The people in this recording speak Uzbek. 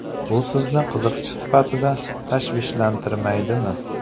Bu sizni qiziqchi sifatida tashvishlantirmaydimi?